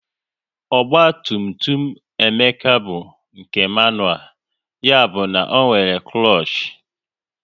Ogba tum tum Emeka bụ nke manual, ya bụ na ọ nwere klush